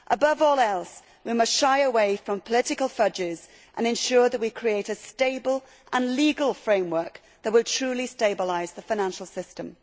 Above all else, we must shy away from political fudges and ensure that we create a stable and legal framework that will truly stabilise the financial system.